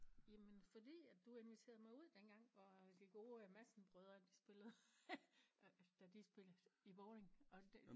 Jamen fordi at du inviterede mig ud dengang hvor de gode Madsen brødre de spillede da de spillede i Vording og det